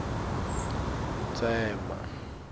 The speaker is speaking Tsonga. tsema